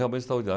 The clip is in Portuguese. Realmente